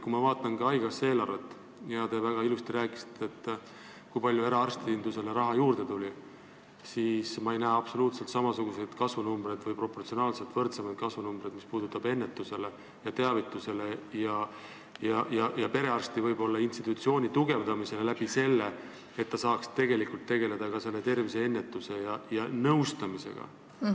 Kui ma vaatan haigekassa eelarvet – te väga ilusasti rääkisite, kui palju eraarstindusele raha juurde tuli –, siis ma ei näe samasuguseid kasvunumbreid või proportsionaalselt võrdsemaid kasvunumbreid, mis puudutab ennetusele ja teavitusele antavat raha ja perearstide institutsiooni tugevdamist, et saaks tegelikult tegeleda terviseennetuse ja nõustamisega.